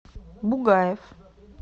бугаев